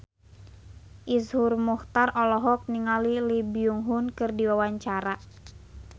Iszur Muchtar olohok ningali Lee Byung Hun keur diwawancara